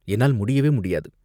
என்னால் முடியவே முடியாது.